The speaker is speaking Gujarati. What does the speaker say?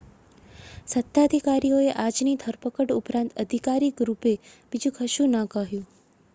સત્તાધારીઓએ આજની ધરપકડ ઉપરાંત આધિકારિક રૂપે બીજું કશું ન કહ્યું